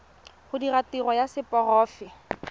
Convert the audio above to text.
go dira tiro ya seporofe